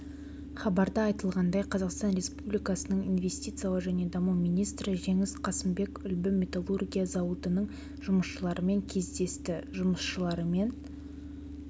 хабарда айтылғандай қазақстан республикасының инвестициялар және даму министрі жеңіс қасымбек үлбі металлургия зауытының жұмысшыларымен кездесті жұмысшыларымен